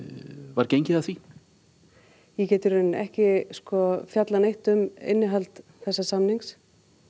var gengið að því ég get ekki fjallað neitt um innihald þessa samnings